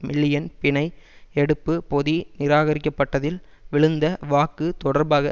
million பிணை எடுப்பு பொதி நிராகரிக்கப்பட்டதில் விழுந்த வாக்கு தொடர்பாக